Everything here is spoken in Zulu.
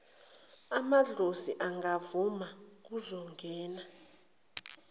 amadlozi angavuma kuzongena